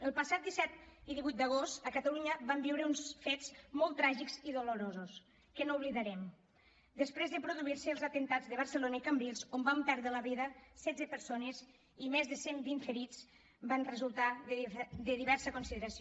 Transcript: el passat disset i divuit d’agost a catalunya vam viure uns fets molt tràgics i dolorosos que no oblidarem després de produir se els atemptats de barcelona i cambrils on van perdre la vida setze persones i més de cent vint ferits van resultar de diversa consideració